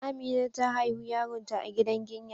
Amina ta haihu yaron ta a gidan ginya,